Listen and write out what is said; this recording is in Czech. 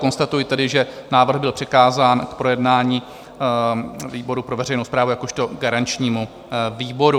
Konstatuji tedy, že návrh byl přikázán k projednání výboru pro veřejnou správu jakožto garančnímu výboru.